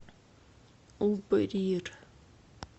убрир